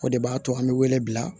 O de b'a to an bɛ wele bila